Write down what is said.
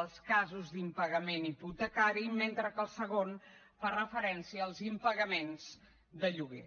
als casos d’impagament hipotecari mentre que el segon fa referència als impagaments de lloguer